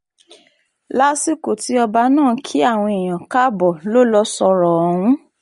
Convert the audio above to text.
lásìkò tí ọba náà ń kí àwọn èèyàn káàbọ̀ lọ lọ sọ̀rọ̀ ọ̀hún